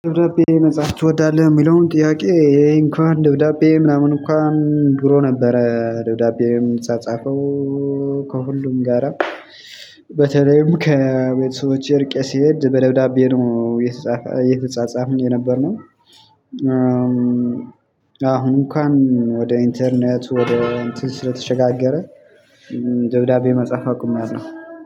ደብዳቤ መጻፍ ትወዳለህ የሚለውን ጥያቄ ይሄ እንኳን ደብዳቤ ምናምን እንኳን ድሮ ነበረ ደብዳቤ ምጻጻፈው። ከሁሉም ጋራ በተለይም ከቤተሰቦቼ ርቄ ሲሄድ በደብዳቤ ነው። እየተጻጻፍን የነበርነው። አሁን እንኳን ወደ ኢንተርኔት ወደ እንትን ስለተሸጋገረ ደብዳቤ መጻፍ አቁሜያለሁ።